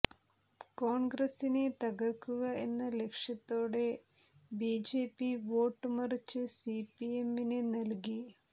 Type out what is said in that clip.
കോൺഗ്രസ്സിനെ തകർക്കുക എന്ന ലക്ഷ്യത്തോടെ ബിജെപി വോട്ട് മറിച്ച് സിപിഎമ്മിന് നൽകി